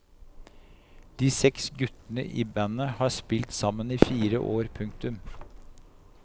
De seks guttene i bandet har spilt sammen i fire år. punktum